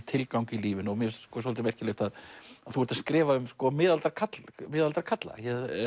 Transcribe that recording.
tilgang í lífinu og mér finnst svolítið merkilegt að þú ert að skrifa um miðaldra karla miðaldra karla